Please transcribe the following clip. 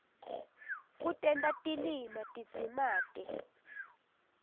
kutenta tilima tidzimate